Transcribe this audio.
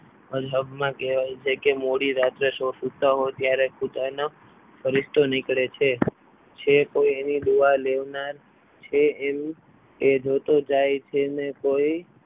અલ્હાબમા કહેવાય છે કે મોડી રાત્રે સુતા હોવ ત્યારે ખુદાનો ફરીસ્તો નીકળે છે જે કોઈ એની દુઆ લેનાર છે એમ એ જોતું જાય છે ને કોઈ